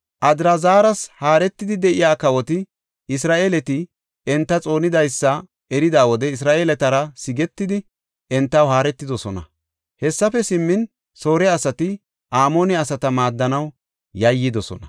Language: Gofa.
Adrazaras haaretidi de7iya kawoti Isra7eeleti enta xoonidaysa erida wode Isra7eeletara sigetidi, entaw haaretidosona. Hessafe simmin, Soore asati Amoone asata maaddanaw yayyidosona.